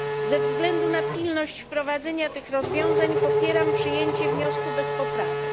Ze względu na pilność wprowadzenia tych rozwiązań popieram przyjęcie wniosku bez poprawek.